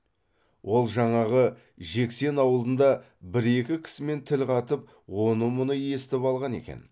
ол жаңағы жексен аулында бір екі кісімен тіл қатып оны мұны естіп алған екен